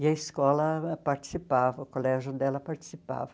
E a escola participava, o colégio dela participava.